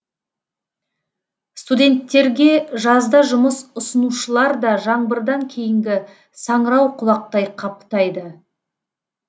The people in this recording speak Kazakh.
студенттерге жазда жұмыс ұсынушылар да жаңбырдан кейінгі саңырауқұлақтай қаптайды